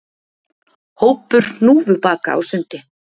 Hópur hnúfubaka á sundi